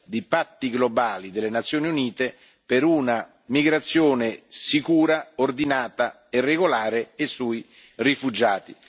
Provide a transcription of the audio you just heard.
di patti globali delle Nazioni Unite per una migrazione sicura, ordinata e regolare e sui rifugiati.